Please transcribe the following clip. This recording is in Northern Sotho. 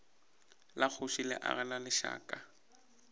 la kgoši le agelwa lešaka